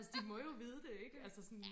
altså de må jo vide det ikke altså sådan